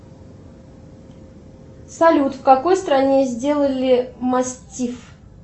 салют в какой стране сделали мастиф